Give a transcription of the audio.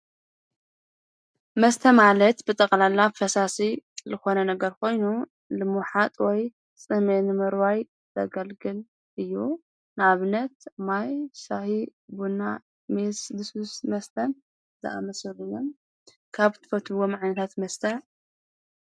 መስተ ማለት ብጠቕላላ ፈሳሲ ልኾነ ነገር ኮይኑ ልምሓጥ ወይ ጽሜንምዋይ ዘገልግል እዩ ናብነት ማይ ሻሕ ቡንና ሜስድሱስ መስተን ዘኣመስሎ ካብ ትፈትዎ መዕንታት መስተ።